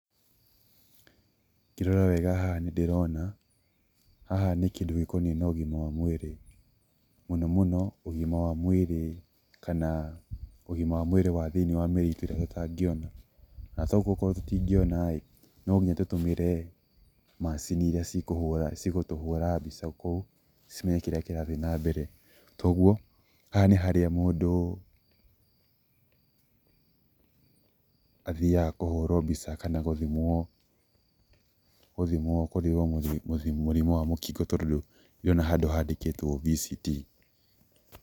Ngĩrora wega haha nĩndĩrona, haha nĩ kĩndũ gĩkonie na ũgima wa mwĩrĩ. Mũno mũno ũgima wa mwĩrĩ kana ũgima wa mwĩrĩ wa thĩ-inĩ wa mĩrĩ itũ ĩrĩa tũtangíona na toguo okorwo tũtingiona ĩ nonginya tũtũmĩre macini iria cigũtũhũra mbica kou, cimenye kĩrĩa kĩrathiĩ na mbere, toguo haha nĩ harĩa mũndũ athiaga kũhũrwo mbica kana gũthimwo gũthimwo mũrimũ wa mũkingo tondũ ndĩrona handũ handĩkĩtwo VCT.